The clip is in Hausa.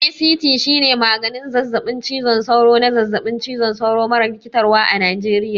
ACT shine maganin zazzaɓin cizon sauro na zazzaɓin cizon sauro mara rikitarwa a Najeriya.